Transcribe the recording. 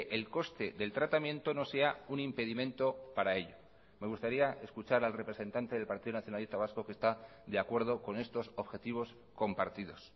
el coste del tratamiento no sea un impedimento para ello me gustaría escuchar al representante del partido nacionalista vasco que está de acuerdo con estos objetivos compartidos